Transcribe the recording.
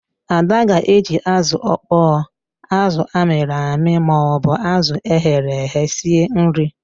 Ada ga-eji azụ ọkpọọ, azụ amịrị amị ma ọ bụ azụ e ghere eghe sie nri.